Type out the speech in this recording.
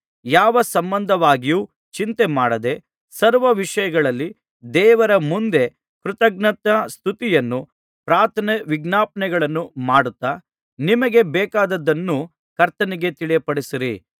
ಯಾವ ಸಂಬಂಧವಾಗಿಯೂ ಚಿಂತೆಮಾಡದೆ ಸರ್ವವಿಷಯಗಳಲ್ಲಿ ದೇವರ ಮುಂದೆ ಕೃತಜ್ಞತಾಸ್ತುತಿಯನ್ನೂ ಪ್ರಾರ್ಥನೆ ವಿಜ್ಞಾಪನೆಗಳನ್ನೂ ಮಾಡುತ್ತಾ ನಿಮಗೆ ಬೇಕಾದದ್ದನ್ನು ಕರ್ತನಿಗೆ ತಿಳಿಯಪಡಿಸಿರಿ